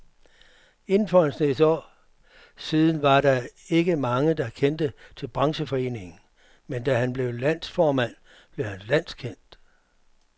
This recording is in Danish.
Indtil for en snes år siden var der ikke mange, der kendte til brancheforeningen, men da han blev landsformand, blev den landskendt.